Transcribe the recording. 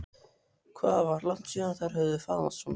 Hvað var langt síðan þær höfðu faðmast svona?